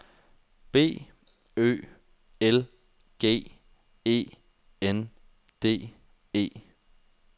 B Ø L G E N D E